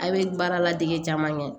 A' bee baara ladege caman kɛ